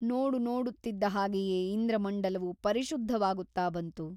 ನೋಡುನೋಡುತ್ತಿದ್ದ ಹಾಗೆಯೇ ಇಂದ್ರಮಂಡಲವು ಪರಿಶುದ್ಧವಾಗುತ್ತ ಬಂತು.